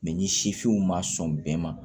Mɛ ni sifinw ma sɔn bɛɛ ma